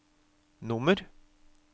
nummer